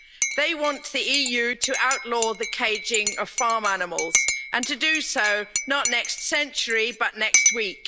They want the EU to outlaw the caging of farm animals and to do so not in the next century, but next week.